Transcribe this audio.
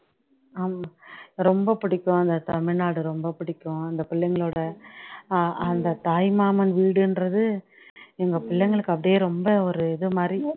ஹம் ரொம்ப பிடிக்கும் அந்த ரொம்ப பிடிக்கும் அந்த பிள்ளைங்களோட அஹ் அந்த தாய்மாமன் வீடுன்றது எங்க பிள்ளைங்களுக்கு அப்படியே ரொம்ப ஒரு இதுமாதிரி